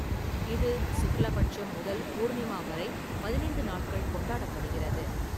இது சுக்ல பட்சம் முதல் பூர்ணிமா வரை பதினைந்து நாட்கள் கொண்டாடப்படுகிறது.